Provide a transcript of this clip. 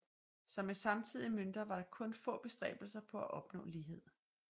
Som med samtidige mønter var der kun få bestræbelser på at opnå lighed